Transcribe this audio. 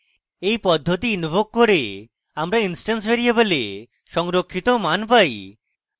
এই পদ্ধতি ইন্ভোক করে আমরা instance ভ্যারিয়েবলে সংরক্ষিত মান পাই